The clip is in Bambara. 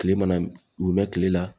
Kile mana u mɛn kile la